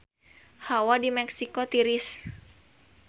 Hawa di Meksiko tiris